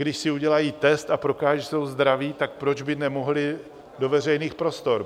Když si udělají test a prokážou, že jsou zdraví, tak proč by nemohli do veřejných prostor?